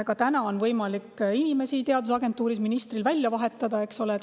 Ka täna on võimalik ministril inimesi teadusagentuuris välja vahetada.